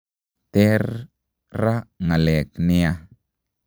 ter raa ngaleg niaa